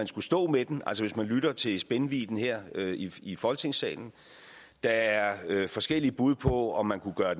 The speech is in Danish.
skal stå med den altså hvis man lytter til spændvidden her i folketingssalen der er forskellige bud på om man kunne gøre